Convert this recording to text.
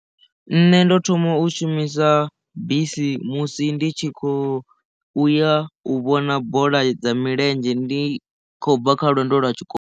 Nṋe ndo thoma u shumisa bisi musi ndi tshi khou uya u vhona bola dza milenzhe ndi khou bva kha lwendo lwa tshikolo.